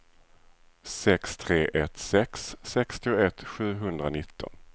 sex tre ett sex sextioett sjuhundranitton